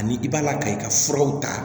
Ani i b'a laka i ka furaw ta